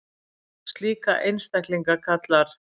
Slíka einstaklinga kallar